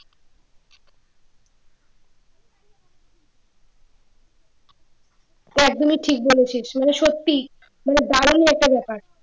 একদম ঠিক বলেছিস এটা সত্যিই মানে দারুন একটা ব্যাপার